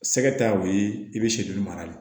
Sɛgɛ ta o ye i bɛ sɛ duuru mara